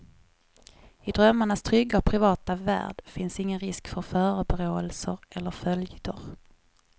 I drömmarnas trygga och privata värld finns ingen risk för förebråelser eller följder.